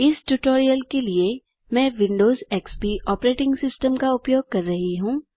इस ट्यूटोरियल के लिए मैं विंडोज एक्सपी ऑपरेटिंग सिस्टम का उपयोग कर रहा हूँ